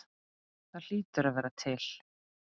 Það hlýtur að vera til?